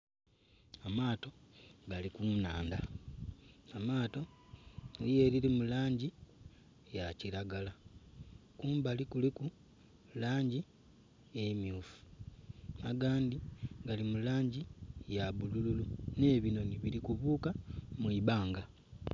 Amaato gali ku nnhandha, amaato eliyo elili mu langi ya kilagala, kumbali kuliku langi emyufu, agandhi gali mu langi ya bulululu, nh'ebinhoni bili kubuluka mu ibanga.